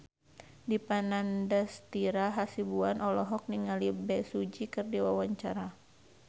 Dipa Nandastyra Hasibuan olohok ningali Bae Su Ji keur diwawancara